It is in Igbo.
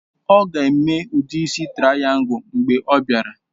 Ọ ga-eme udi isi traìyangul mgbe ọ bịara